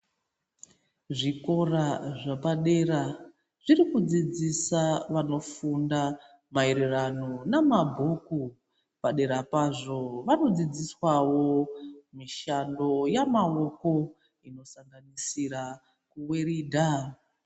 Zvikora zvepadera zvinodzidzisa vanofunda maererano namabhuku, padera pazvo vanodzidziswawo mishando yamaoko inosanganisira kuweridha.